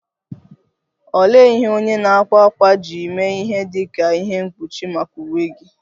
Olee ihe onye na - akwa akwa ji mee ihe dị ka ihe mkpuchi maka uwe gị?